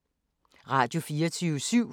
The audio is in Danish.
Radio24syv